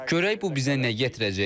Görək bu bizə nə gətirəcək.